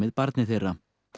barni þeirra